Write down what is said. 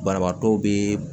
Banabaatɔ be